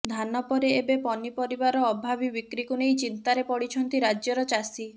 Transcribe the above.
ଧାନ ପରେ ଏବେ ପନିପରିବାର ଅଭାବି ବିକ୍ରିକୁ ନେଇ ଚିନ୍ତାରେ ପଡିଛନ୍ତି ରାଜ୍ୟର ଚାଷୀ